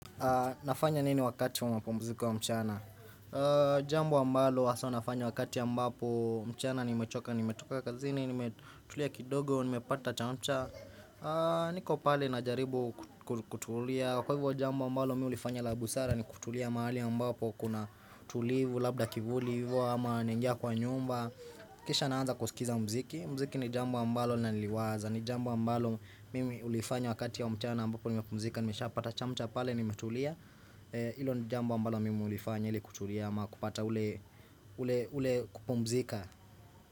Nafanya nini wakati wa mapumziko ya mchana? Jambo ambalo haswa nafanya wakati ambapo mchana ni mechoka, ni metoka kazini, ni metulia kidogo, ni mepata chamcha niko pale na jaribu kutulia, kwa hivyo jambo ambalo mi ulifanya labusara ni kutulia mahali ya mbapo kuna tulivu, labda kivulivu, ama naingia kwa nyumba Kisha naanza kusikiza mziki, mziki ni jambo ambalo linaliwaza ni jambo ambalo mimi hulifanya wakati wa mchana ambapo nimepumzika Nimeshapata chamcha pale nimetulia Ilo ni jambo ambalo mimi hulifanya ili kutulia ama kupata ule kupumzika.